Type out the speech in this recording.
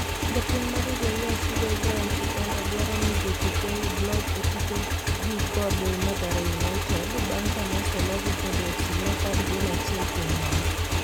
japuonj mar Nzoia Sugar Ibrahim Shikanda dwaro ni jotuke oyud loch e tukgi kod Mathare United bang kane oselogi kod AFC Leopard gol achiel kuom nono